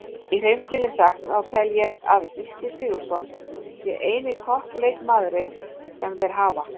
Í hreinskilni sagt þá tel ég að Gylfi Sigurðsson sé eini toppleikmaðurinn sem þeir hafa.